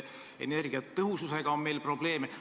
Energiatõhususega on meil probleeme.